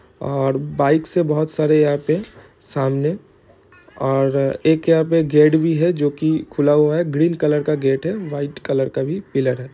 और बाइक से बहोत सारे यहाँ पे सामने-- और एक यहाँ पे गेट भी है जो की खुला हुआ है ग्रीन कलर का गेट है वाइट कलर का भी पिलर है।